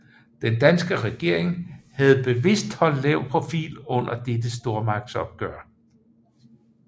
Den danske regering havde bevidst holdt lav profil under dette stormagtsopgør